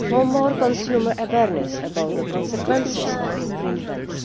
more consumer awareness about the consequences of infringements